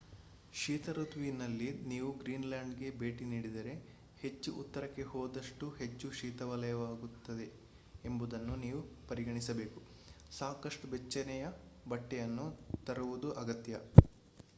ಶೀತ ಋತುವಿನಲ್ಲಿ ನೀವು ಗ್ರೀನ್‌ಲ್ಯಾಂಡ್‌ಗೆ ಭೇಟಿ ನೀಡಿದರೆ ಹೆಚ್ಚು ಉತ್ತರಕ್ಕೆ ಹೋದಷ್ಟೂ ಹೆಚ್ಚು ಶೀತಮಯವಾಗಿರುತ್ತದೆ ಎಂಬುದನ್ನು ನೀವು ಪರಿಗಣಿಸಬೇಕು ಸಾಕಷ್ಟು ಬೆಚ್ಚನೆಯ ಬಟ್ಟೆಯನ್ನು ತರುವುದು ಅಗತ್ಯ